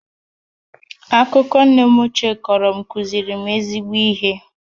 Akụkọ nne m ochie kọrọ m kụziri m ezigbo ihe